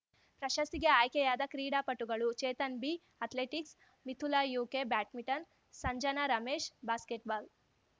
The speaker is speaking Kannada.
ಪ್ರಶಸ್ತಿಗೆ ಆಯ್ಕೆಯಾದ ಕ್ರೀಡಾಪಟುಗಳು ಚೇತನ್‌ ಬಿಅಥ್ಲೆಟಿಕ್ಸ್‌ ಮಿಥುಲಾ ಯುಕೆಬ್ಯಾಡ್ಮಿಂಟನ್‌ ಸಂಜನಾ ರಮೇಶ್‌ಬಾಸ್ಕೆಟ್‌ಬಾಲ್‌